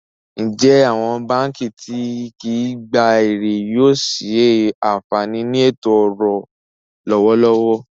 Ǹjẹ́ awọn bankí ti kìí gbà èrè yóò ṣé ànfaní ní ètò-ọ̀rọ̀ lọwọ̀lọwọ̀?